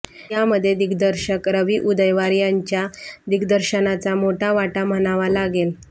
यामध्ये दिग्दर्शक रवी उदयवार याच्या दिग्दर्शनाचा मोठा वाटा म्हणावा लागेल